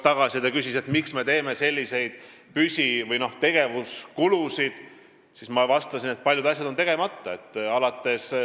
Ta küsis, miks me tekitame selliseid püsi- või tegevuskulusid, ja ma vastasin, et paljud asjad on tegemata.